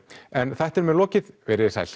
en þættinum er lokið verið þið sæl